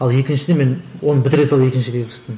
ал екіншіде мен оны бітіре сала екіншіге кірістім